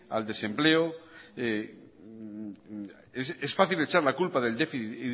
al desempleo es fácil echar la culpa del déficit